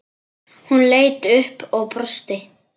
Hún leit upp og brosti.